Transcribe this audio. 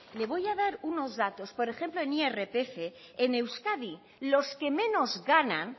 le voy a dar unos datos por ejemplo en irpf en euskadi los que menos ganan